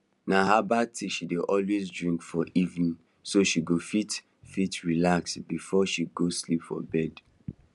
na herbal tea she dey always drink for evening so she go fit fit relax before she go sleep for bed